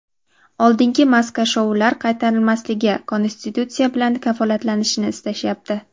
oldingi "maska-shou"lar qaytarilmasligi konstitutsiya bilan kafolatlanishini istashyapti.